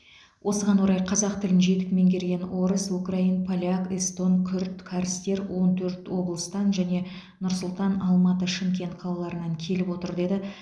осыған орай қазақ тілін жетік меңгерген орыс украин поляк эстон күрд кәрістер он төрт облыстан және нұр сұлтан алматы шымкент қалаларынан келіп отыр деді